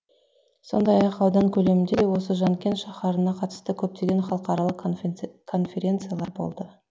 сондай ақ аудан көлемінде осы жанкент шаһарына қатысты көптеген халықаралық конференциялар болды